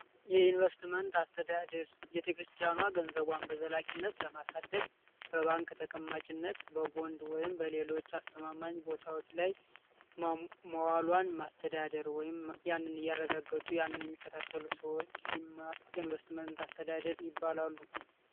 የኢንቨስትመንት አስተዳደር ቤተክርስቲያኗን ለማስተዳደር በባንክ ተቀማጭነት በጎን ወይም በሌሎች አስተማማኝ ቦታዎች ላይ ማዋልዋን የአንድን እያረጋገጡ የሚከታተሉ ሰዎች የኢንቨስትመንት አስተዳደር ይባላሉ።